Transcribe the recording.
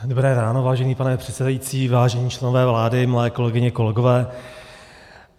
Dobré ráno, vážený pane předsedající, vážení členové vlády, milé kolegyně, kolegové.